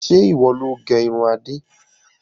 Ǹjẹ́ ìwọ loo gé irun Adé.